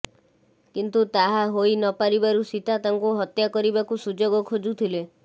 କିନ୍ତୁ ତାହା ହୋଇ ନ ପାରିବାରୁ ସୀତା ତାଙ୍କୁ ହତ୍ୟା କରିବାକୁ ସୁଯୋଗ ଖୋଜୁଥିଲେ